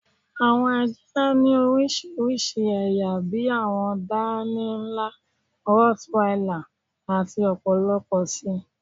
Awọn àjá ni oríṣiríṣí ẹ̀yà bí àwọn dánìí nla, rottweiler, àti ọ̀pọ̀lọ̀pọ̀ sí.